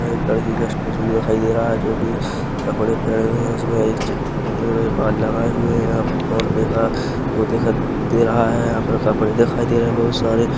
ये एक लड़की का स्टैचू दिखाई दे रहा है जो कि कपड़े पहने हुए हैं उसमे एक चीठी तंगी हुए है बाल लगाए हुए है यहाँ पे फोनपे का वो दिखाई दे रहा है यहाँ पे कपड़े दिखाई दे रहे हैं बहुत सारे --